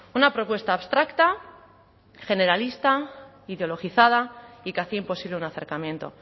una propuesta abstracta generalista ideologizada y que hacía imposible un acercamiento